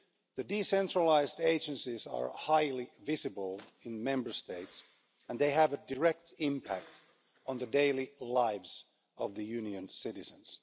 The decentralised agencies are highly visible in Member States and they have a direct impact on the daily lives of the Union's citizens.